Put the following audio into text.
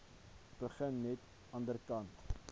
begin net anderkant